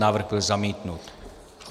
Návrh byl zamítnut.